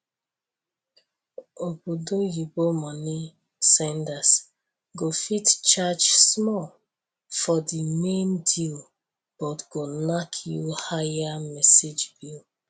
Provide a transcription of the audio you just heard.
obodo oyibo money senders go fit charge small for the main deal but go knack you higher message bill